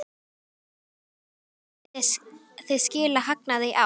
Brynja Þorgeirsdóttir: Munið þið skila hagnaði í ár?